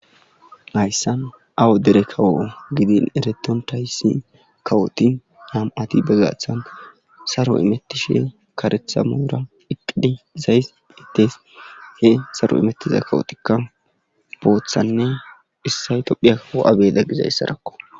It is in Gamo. hayssan awadeere kawo gidin ereton thayssi kawoti nam7ati bagathana saro imettishe karetha moora iqidhi izays hitees he saro imettiza kawotikka booththanne issay tophiya kawo7abeda gizayssarakko